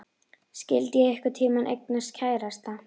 Skyldi ég einhvern tíma eignast kærasta?